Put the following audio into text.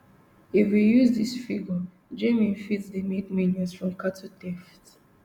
if we use dis figure jnim fit dey make millions from cattle theft